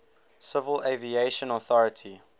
civil aviation authority